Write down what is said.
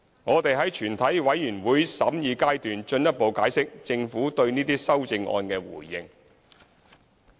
我們會在全體委員會審議階段進一步解釋政府對這些修正案的回應。